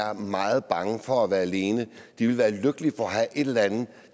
er meget bange for at være alene ville være lykkelige for at have et eller andet